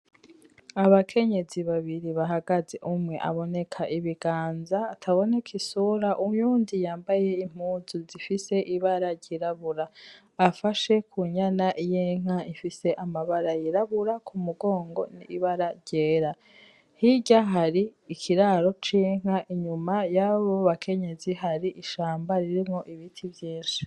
Abakenyezi babiri bahagaze, umwe aboneka ibiganza, ataboneka isura. Uyundi yambaye impuzu zifise ibara ryirabura, afashe ku nyana y'inka ifise amabara yirabura ku mugongo n'ibara ryera. Hirya hari ikiraro c'inka. Inyuma y'abo bakenyezi hari ishamba ririmwo ibiti vyinshi.